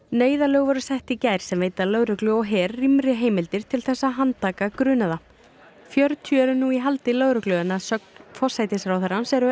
neyðarlög voru sett í gær sem veita lögreglu og her rýmri heimildir til þess að handtaka grunaða fjörutíu eru nú í haldi lögreglu en að sögn forsætisráðherrans eru